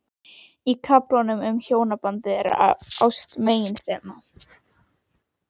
Í kaflanum um hjónabandið er ást meginþema.